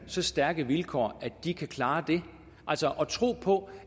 så stærke vilkår at de kan klare det altså tro på